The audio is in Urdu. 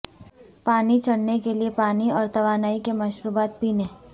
پانی چڑھنے کے لئے پانی اور توانائی کے مشروبات پینے